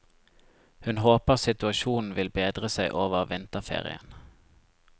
Hun håper situasjonen vil bedre seg over vinterferien.